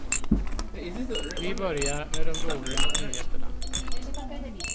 Vi börjar med de dåliga nyheterna.